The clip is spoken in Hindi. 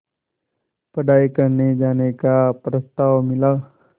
पढ़ाई करने जाने का प्रस्ताव मिला